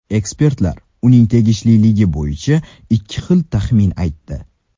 Ekspertlar uning tegishliligi bo‘yicha ikki xil taxmin aytdi.